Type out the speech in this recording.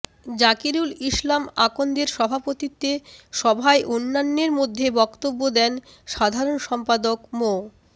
জাকিরুল ইসলাম আকন্দের সভাপতিত্বে সভায় অন্যান্যের মধ্যে বক্তব্য দেন সাধারণ সম্পাদক মো